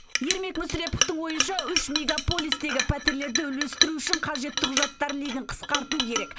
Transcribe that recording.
ермек мүсіреповтің ойынша үш мегаполистегі пәтерлерді үлестіру үшін қажетті құжаттар легін қысқарту керек